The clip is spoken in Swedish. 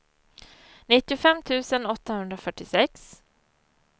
nittiofem tusen åttahundrafyrtiosex